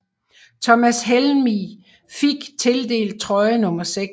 Thomas Helveg fik tildelt trøje nummer 6